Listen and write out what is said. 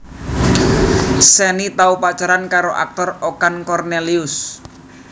Shenny tau pacaran karo aktor Okan Kornelius